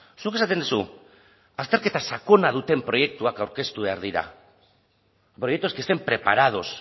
zuk esaten duzu azterketa sakona duten proiektuak aurkeztu behar dira proyectos que estén preparados